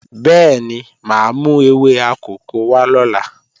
Bẹ́ẹ̀ni, máa mú ewé akòko wá lọ́la